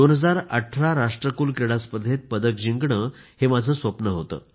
2018 राष्ट्रकुल क्रीडा स्पर्धेत पदक जिंकणे हे माझे स्वप्न होते